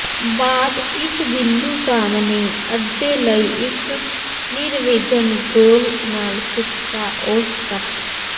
ਬਾਅਦ ਇਸ ਬਿੰਦੂ ਸਾਹਮਣੇ ਅੱਧੇ ਲਈ ਇੱਕ ਨਿਰਵਿਘਨ ਗੋਲ ਨਾਲ ਖਿੱਚਦਾ ਔਸਤ ਕੱਟ